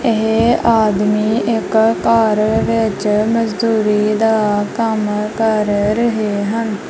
ਇਹ ਆਦਮੀ ਇੱਕ ਘਰ ਵਿੱਚ ਮਜ਼ਦੂਰੀ ਦਾ ਕੰਮ ਕਰ ਰਹੇ ਹਨ।